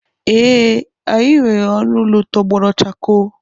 Ee, anyị nwere ọnụ ụlọ tọgbọrọ chakoo.